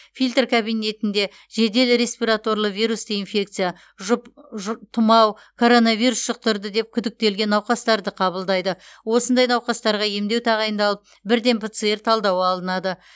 фильтр кабинетінде жедел респираторлы вирусты инфекция тұмау коронавирус жұқтырды деп күдіктелген науқастарды қабылдайды осындай науқастарға емдеу тағайындалып бірден пцр талдауы алынады